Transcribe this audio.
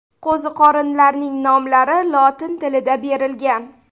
Qo‘ziqorinlarning nomlari lotin tilida berilgan.